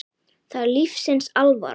Það er lífsins alvara.